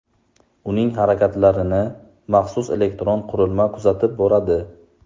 Uning harakatlarini maxsus elektron qurilma kuzatib boradi.